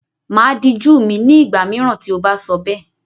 Màá dijú mi, ní ìgbà mìíràn tí o bá sọ bẹ́ẹ̀.